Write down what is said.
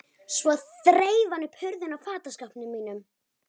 Svo þreif hann upp hurðina á fataskápnum mínum.